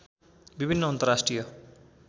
विभिन्न अन्तर्राष्ट्रिय